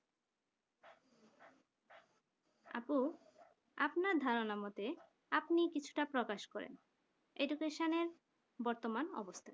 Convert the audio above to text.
আপু আপনার ধারণা মতে আপনিও কিছুটা প্রকাশ করেন Education বর্তমান অবস্থান